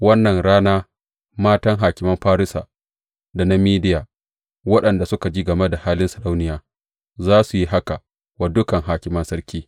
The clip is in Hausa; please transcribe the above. Wannan rana matan hakiman Farisa da na Mediya waɗanda suka ji game da halin sarauniya, za su yi haka wa dukan hakiman sarki.